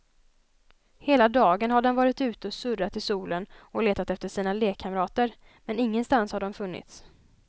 Hela dagen har den varit ute och surrat i solen och letat efter sina lekkamrater, men ingenstans har de funnits.